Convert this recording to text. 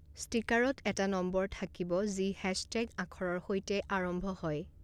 ষ্টিকাৰত এটা নম্বৰ থাকিব যি হেশ্বটেগ আখৰৰ সৈতে আৰম্ভ হয়।